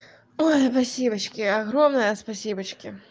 ой спасибочки огромное спасибочки